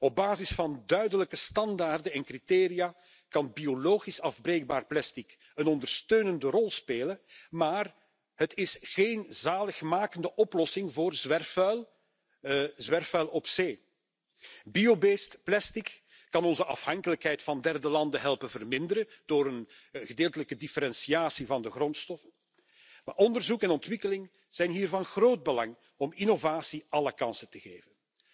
Op basis van duidelijke standaarden en criteria kan biologisch afbreekbaar plastic een ondersteunende rol spelen, maar het is geen zaligmakende oplossing voor zwerfvuil op zee. Bio based plastic kan onze afhankelijkheid van derde landen helpen verminderen door een gedeeltelijke differentiatie van de grondstoffen. Maar onderzoek en ontwikkeling zijn hier van groot belang om innovatie alle kansen te geven.